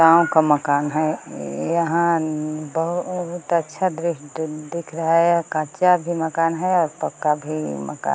गांव का मकान है इइ यहां अं बहुत अच्छा दृश्ट दिख रहा है यह कच्चा भी मकान है और पक्का भी मका --